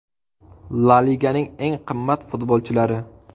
La Liganing eng qimmat futbolchilari.